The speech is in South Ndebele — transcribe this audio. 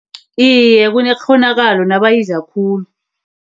Iye, kunekghonakalo nabayidla khulu.